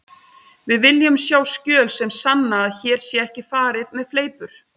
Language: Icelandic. Við viljum sjá skjöl sem sanna að hér sé ekki farið með fleipur.